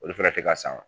Olu fɛnɛ tɛ ka san